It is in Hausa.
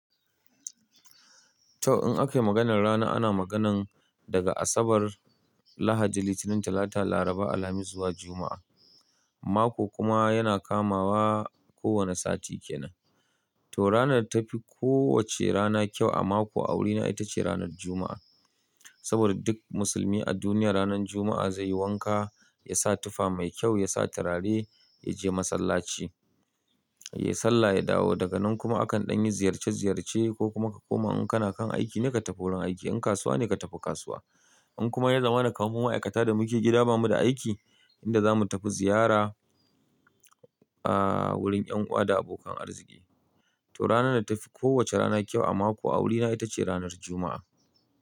To in akai maganar rana ana maganan daga Asabar, Lahadi, Litinin, Talata, Laraba, Alhamis zuwa Juma'a. Mako kuma yana kamawa ko wane sati kenan. To ranar da tafi ko wacce rana kyau a mako a wurina ita ce ranar Juma'a. Saboda duk musulmi a duniya ranar Juma'a zai yi wanka, ya sa tufa mai kyau, ya sa turare, ya je masallaci, ya yi sallah, ya dawo daga nan kuma akan ɗan yi ziyarce ziyarce ko kuma ka koma in kana kan aiki ne ka tafi wurin aiki, in kasuwa ne ka tafi kasuwa. In kuma ya zama na kaman mu ma'aikata da muke gida ba mu da aiki, inda za mu tafi ziyara, ah, wurin yan uwa da abokan arziki. To ranar da tafi ko wace rana kyau a mako a wurina ita ce ranar Juma'a.